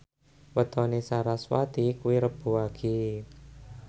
wetone sarasvati kuwi Rebo Wage